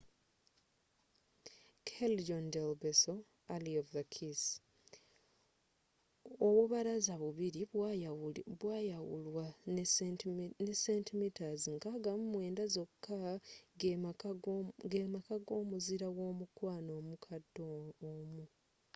callejon del beso alley of the kiss. obubalaza bubiri bwayawulwa ne centimeters 69 zoka gem aka g’omuzira womukwano omkade omu